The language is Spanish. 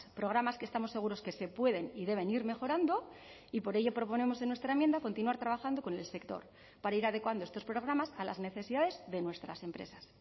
programas que estamos seguros que se pueden y deben ir mejorando y por ello proponemos en nuestra enmienda continuar trabajando con el sector para ir adecuando estos programas a las necesidades de nuestras empresas